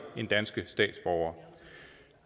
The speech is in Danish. end danske statsborgere